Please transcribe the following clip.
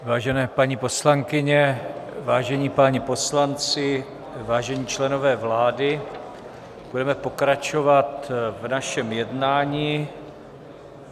Vážené paní poslankyně, vážení páni poslanci, vážení členové vlády, budeme pokračovat v našem jednání.